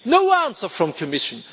No answer from the Commission.